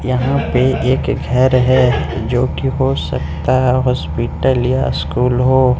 यहाँ पे एक घर है जो कि हो सकता है हॉस्पिटल या स्कूल हो।